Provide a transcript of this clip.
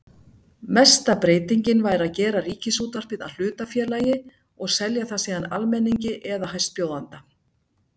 Mesta breytingin væri að gera Ríkisútvarpið að hlutafélagi og selja það síðan almenningi eða hæstbjóðanda.